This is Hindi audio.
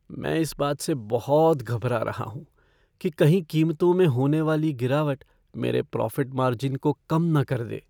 मैं इस बात से बहुत घबरा रहा हूँ कि कहीं कीमतों में होने वाली गिरावट मेरे प्रॉफ़िट मार्जिन को कम न कर दे।